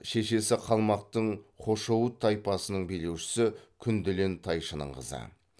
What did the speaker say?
шешесі қалмақтың хошоуыт тайпасының билеушісі күнделен тайшының қызы